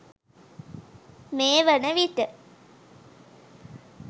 මේ වන විට